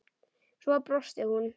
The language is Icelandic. Svo brosti hún.